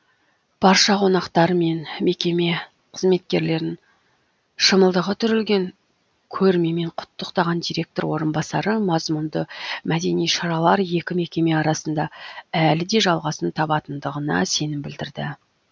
барша қонақтар мен мекеме қызметкерлерін шымылдығы түрілген көрмемен құттықтаған директор орынбасары мазмұнды мәдени шаралар екі мекеме арасында әлі де жалғасын табатындығына сенім білдірді